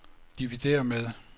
dividér med